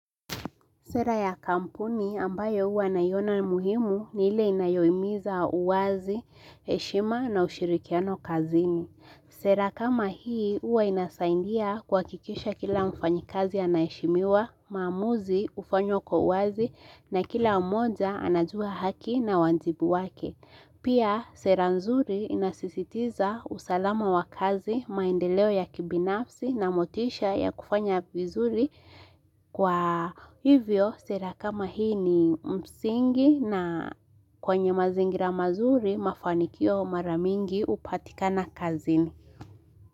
Sera ya kampuni ambayo huwa naiona muhimu ni ile inayohimiza uwazi, heshima na ushirikiano kazini. Sera kama hii uwa inasaidia kwa kuhakisha kila mfanyi kazi anaheshimiwa, maamuzi hufanywa kwa uwazi na kila mmoja anajua haki na wajibu wake. Pia sera nzuri inasisitiza usalama wa kazi maendeleo ya kibinafsi na motisha ya kufanya vizuri kwa hivyo sera kama hii ni msingi na kwenye mazingira mazuri mafanikio mara mingi hupatikana kazini.